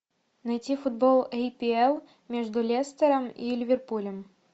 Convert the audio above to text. найти футбол апл между лестером и ливерпулем